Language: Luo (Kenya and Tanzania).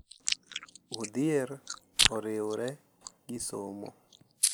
Odhier oriwre gi somo,